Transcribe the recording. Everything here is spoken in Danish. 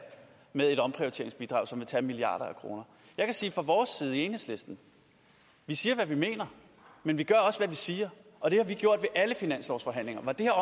med et omprioriteringsbidrag som vil tage milliarder af kroner jeg kan sige fra vores side i enhedslisten vi siger hvad vi mener men vi gør også hvad vi siger og det har vi gjort ved alle finanslovsforhandlinger var det her